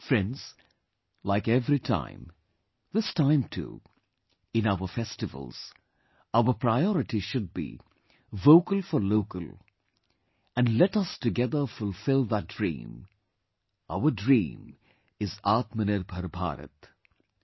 Friends, like every time, this time too, in our festivals, our priority should be 'Vocal for Local' and let us together fulfill that dream; our dream is 'Aatmnirbhar Bharat'